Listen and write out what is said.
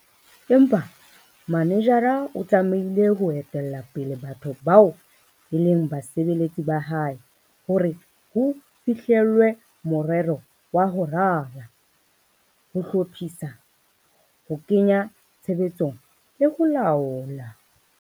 Empa manejara o tlamehile ho etella pele batho bao e leng basebeletsi ba hae hore ho fihlellwe morero wa ho rala, ho hlophisa, ho kenya tshebetsong le ho laola.